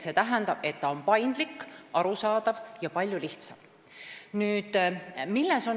See tähendab, et ta on paindlik, arusaadav ja palju lihtsam.